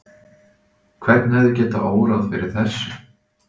Hvern hefði getað órað fyrir þessu?